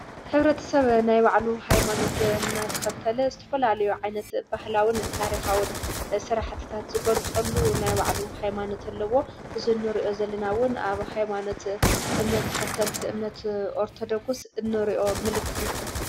ኅብረት ሰብ ናይ ባዕሉ ኃይማኖት እናተኸተለ ዝተፈላልዮ ዓይነት ባህላዉን ታሪኻውን ስራሕትታት ዝጐልጸሉ ናይ ባዕሉ ኃይማኖት ኣለዎ እዝኖርኦ ዘሊናዉን ኣብ ኃይማኖት እምነት ተኸተልቲ እምነት ኦርተዶክስ እኖርእዮ ምልክት እዩ።